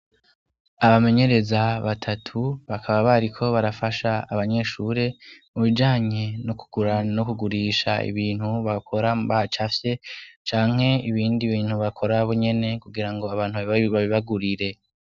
Abamenyereza batatu, bakaba bariko barafasha abanyeshuri mu bijanye no kugura no kugurisha ibintu bakora bacafye canke ibindi bintu bakora bonyene kugira ngo abantu babibagurire.